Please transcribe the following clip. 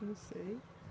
Não sei.